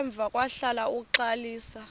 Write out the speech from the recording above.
emva kwahlala uxalisa